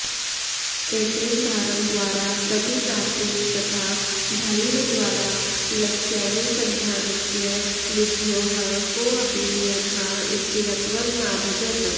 एतेन धावनद्वारा गतिप्राप्तेस्तथा भल्लद्वारा लक्ष्यानुसन्धानस्य विध्योः कोऽपि नियमः स्थिरत्वं नाभजत्